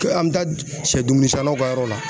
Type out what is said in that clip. an mɛ taa sɛdumuni sannaw ka yɔrɔ la.